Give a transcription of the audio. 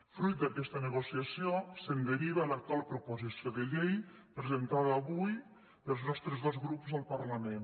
fruit d’aquesta negociació se’n deriva l’actu·al proposició de llei presentada avui pels nostres dos grups al parlament